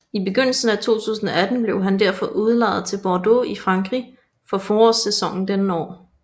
I begyndelsen af 2018 blev han derfor udlejet til Bordeaux i Frankrig for forårssæsonen dette år